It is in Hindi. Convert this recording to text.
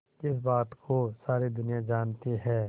जिस बात को सारी दुनिया जानती है